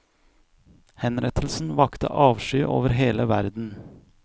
Henrettelsen vakte avsky over hele verden.